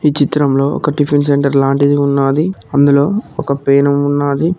ఈ చిత్రంలో ఒక టిఫిన్ సెంటర్ లాంటిది ఉన్నాది అందులో ఒక పేనుం ఉన్నాది.